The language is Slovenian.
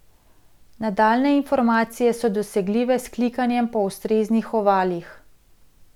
Nadaljnje informacije so dosegljive s klikanjem po ustreznih ovalih.